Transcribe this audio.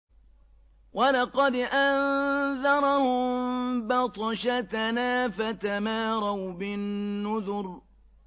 وَلَقَدْ أَنذَرَهُم بَطْشَتَنَا فَتَمَارَوْا بِالنُّذُرِ